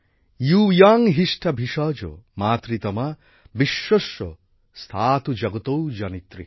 য়ূয়ং হিষ্ঠা ভিষজো মাতৃতমা বিশ্বস্য স্থাতুঃ জগতো জনিত্রীঃ